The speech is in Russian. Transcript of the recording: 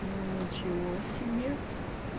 ну ничего себе